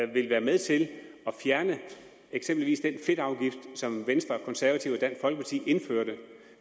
vil være med til at fjerne eksempelvis den fedtafgift som venstre og konservative og dansk folkeparti indførte